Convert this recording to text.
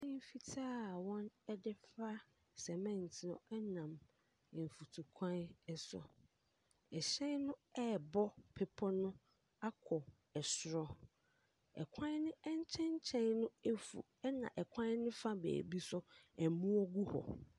Hyɛn fitaa wɔde for a sɛmɛnte no nam kwan so, hyɛn no ɛrebɔ bepɔ no akɔ soro. Kwan ne nkyɛnkyɛn no afu na kwan ne fa beebi nso aboɔ gu hɔ.